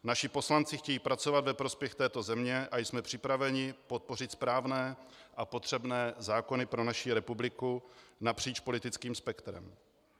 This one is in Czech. Naši poslanci chtějí pracovat ve prospěch této země a jsme připraveni podpořit správné a potřebné zákony pro naši republiku napříč politickým spektrem.